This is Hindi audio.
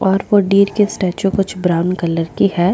और वो डिअर की स्टेचू कुछ ब्राउन कलर की है।